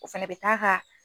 O fɛnɛ bɛ taa ka